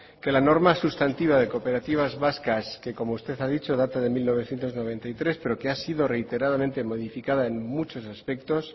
que la norma sustantiva de cooperativas vascas que como usted ha dicho data del mil novecientos noventa y tres pero que ha sido reiteradamente modificada en muchos aspectos